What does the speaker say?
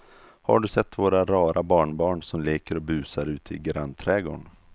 Har du sett våra rara barnbarn som leker och busar ute i grannträdgården!